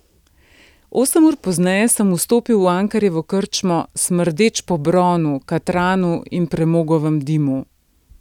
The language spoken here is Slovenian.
Osem ur pozneje sem vstopil v Ankerjevo krčmo, smrdeč po bronu, katranu in premogovem dimu.